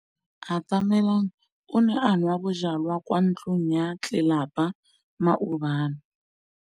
Atamelang o ne a nwa bojwala kwa ntlong ya tlelapa maobane.